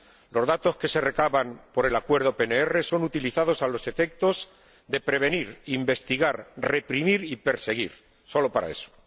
Los datos que se recaban mediante el Acuerdo PNR son utilizados a los efectos de prevenir, investigar, reprimir y perseguir, solo para eso.